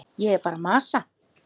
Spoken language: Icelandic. Ég er bara að masa.